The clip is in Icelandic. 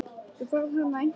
Þú færð hana eins og skot.